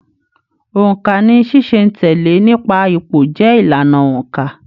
Óńka ní ṣiṣẹ̀-n-tẹle nípa ipò jẹ ìlànà óńka.